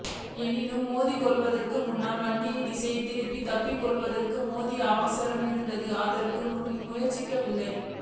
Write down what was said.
எனினும் மோதிக்கொள்வதற்கு முன்னர் வண்டியை திசை திருப்பி தப்பித்துக்கொள்வதற்கு போதிய அவகாசம் இருந்தும் அவர் அதற்கு முயற்சிக்கவில்லை